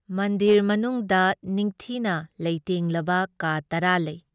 ꯃꯟꯗꯤꯔ ꯃꯅꯨꯨꯡꯗ ꯅꯤꯡꯊꯤꯅ ꯂꯩꯇꯦꯡꯂꯕ ꯀꯥ ꯇꯔꯥ ꯂꯩ ꯫